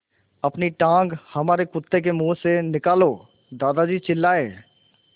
अपनी टाँग हमारे कुत्ते के मुँह से निकालो दादाजी चिल्लाए